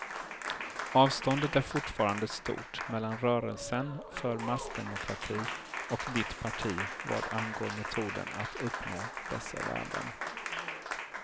Avståndet är fortfarande stort mellan rörelsen för massdemokrati och ditt parti vad angår metoden att uppnå dessa värden.